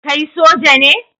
Kai Soja ne?